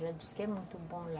Ela disse que é muito bom lá.